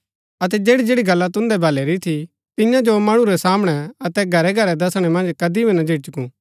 अतै जैड़ी जैड़ी गल्ला तुन्दै भलै री थी तियां जो मणु रै सामणै अतै घरै घरै दसणै मन्ज कदी भी ना झिझकु